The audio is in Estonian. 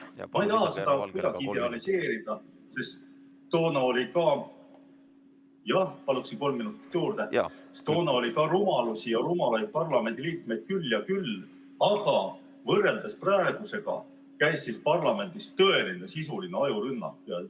Ma ei taha seda kuidagi idealiseerida, sest toona oli ka rumalusi ja rumalaid parlamendiliikmeid küll ja küll, aga võrreldes praegusega käis siis parlamendis tõeline sisuline ajurünnak.